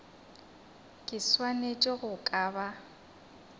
ke swanetše go ka ba